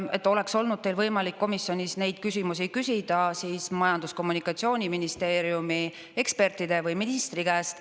Et oleks olnud teil võimalik komisjonis neid küsimusi küsida, siis Majandus‑ ja Kommunikatsiooniministeeriumi ekspertide või ministri käest.